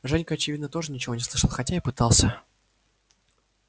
женька очевидно тоже ничего не слышал хотя и пытался